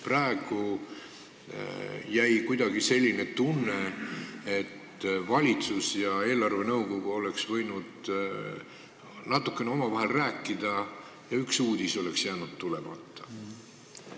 Praegu jäi kuidagi selline tunne, et valitsus ja eelarvenõukogu oleks võinud natukene omavahel rääkida ja üks uudis oleks jäänud tulemata.